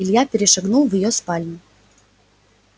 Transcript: илья перешагнул в её спальню